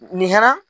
Nin hɛrɛ